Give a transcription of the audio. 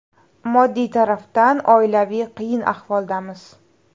Moddiy tarafdan oilaviy qiyin ahvoldamiz.